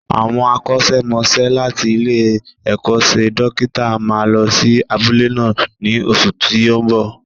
Àwọn akọ́ṣẹ́mọsẹ́ láti ilé-ẹ̀kọ́ṣẹ́ dókítà máa lọ sí abúlé náà ní oṣù tí ó ń bo.